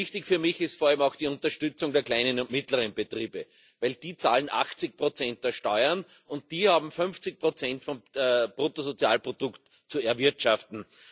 Wichtig für mich ist vor allem auch die Unterstützung der kleinen und mittleren Betriebe, denn die zahlen 80 Prozent der Steuern und haben 50 Prozent des Bruttosozialprodukts zu erwirtschaften.